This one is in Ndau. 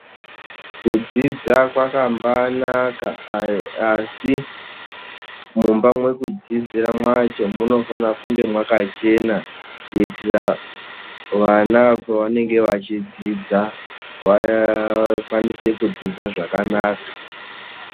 Kudzidza kwakambanaka asi mumba mwekudzidzira mwacho munofane kunge mwakachena kuitira vana pavanenge vachidzidza vakwanise kudzidza zvakanaka.